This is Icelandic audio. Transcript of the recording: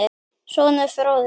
Sonur: Fróði.